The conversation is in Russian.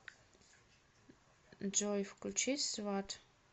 джой включи сват